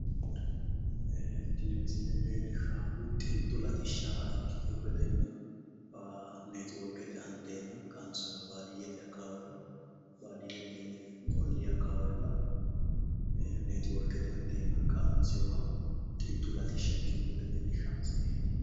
Tini misile leellishshaahu xintu latishsha ikkiwo gedenna neetiworkete anteena qansoyiha baadiyyete akkawaawera baadiyyete ollii akkawaawera neetiworkete anteena qansoyiha xintu latishsha ikkino gede leellishshawo misileeti.